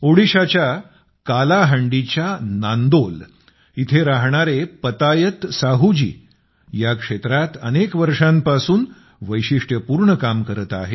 ओडिशाच्या कालाहांडीच्या नांदोल येथे राहणारे पतायत साहूजी या क्षेत्रात अनेक वर्षांपासून वैशिष्ट्यपूर्ण काम करत आहेत